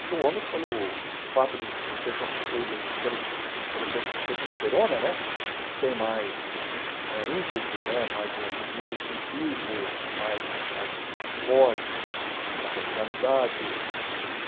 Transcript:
Porque o homem, pelo fato de ser constituído pelo pelo tes testosterona né, tem mais eh ímpeto né, mais o o instintivo, mais mais mais forte na personalidade.